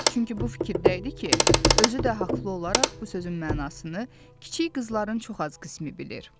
Çünki bu fikirdə idi ki, özü də haqlı olaraq bu sözün mənasını kiçik qızların çox az qismi bilir.